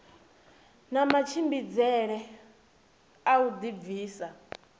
na matshimbidzele a u dibvisa